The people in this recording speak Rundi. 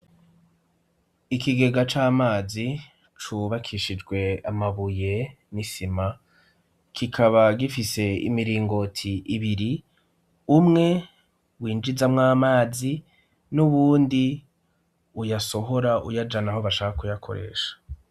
Ikigega c'amazi cubakishijwe amabuye n'isima kikaba gifise imiringoti ibiri umwe winjizamwo amazi n'uyundi uyasohora uyajana aho bashaka kuyakoresha.